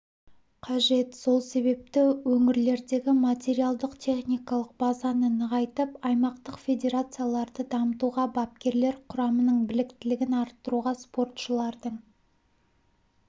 қажет сол себепті өңірлердегі материалдық-техникалық базаны нығайтып аймақтық федерацияларды дамытуға бапкерлер құрамының біліктілігін арттыруға спортшылардың